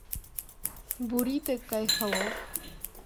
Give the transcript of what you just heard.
бурито кайфолов